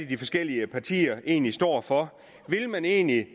de forskellige partier egentlig står for vil man egentlig